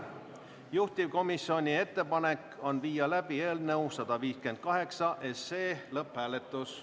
Juhtivkomisjoni ettepanek on viia läbi eelnõu 158 lõpphääletus.